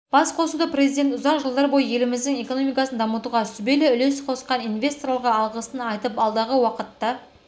басқосуда президент ұзақ жылдар бойы еліміздің экономикасын дамытуға сүбелі үлес қосқан инвесторларға алғысын айтып алдағы уақытта